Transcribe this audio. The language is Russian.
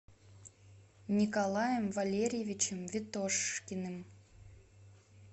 николаем валерьевичем ветошкиным